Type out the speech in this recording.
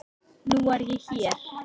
Nú er ég hér.